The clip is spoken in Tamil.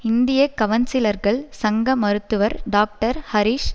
இந்திய கவன்சிலர்கள் சங்க மருத்துவர் டாக்டர் ஹரீஷ்